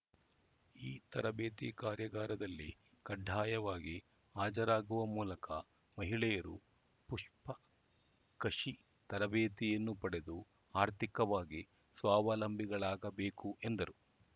ಈ ತರಬೇತಿ ಕಾರ್ಯಾಗಾರದಲ್ಲಿ ಕಡ್ಡಾಯವಾಗಿ ಹಾಜರಾಗುವ ಮೂಲಕ ಮಹಿಳೆಯರು ಪುಷ್ಪ ಕಷಿ ತರಬೇತಿಯನ್ನು ಪಡೆದು ಆರ್ಥಿಕವಾಗಿ ಸ್ವಾವಲಂಬಿಗಳಾಗಬೇಕು ಎಂದರು